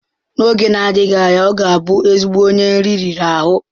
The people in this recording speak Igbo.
N'oge na-adịghị anya, ọ ga-abụ ezigbo onye nri riri ahụ.